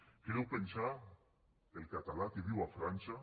què deu pensar el català que viu a frança